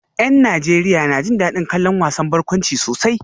Yan Najeriya na jin dadin kallon wasan barkwanci sosai